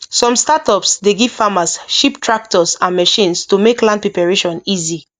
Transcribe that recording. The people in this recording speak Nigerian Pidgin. some startups dey give farmers cheap tractors and machines to make land preparation easy